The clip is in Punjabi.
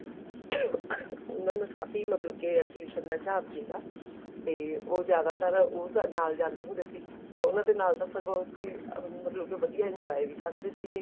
ਉਹਨਾ ਨੂੰ ਕਾਫ਼ੀ ਮਤਲਬ ਕੇ exhibition ਦਾ ਹਿਸਾਬ ਸੀਗਾ ਤੇ ਉਹ ਜਿਆਦਾਤਰ ਉਹ ਨਾਲ ਜਾਂਦੇ ਹੁੰਦੇ ਸੀ ਤੇ ਉਹਨਾ ਦੇ ਨਾਲ ਸਗੋਂ ਮਤਲਬ ਕੇ ਵਧੀਆ enjoy ਵੀ ਕਰਦੇ ਸੀਗੇ